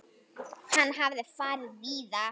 Hann hafði farið víða.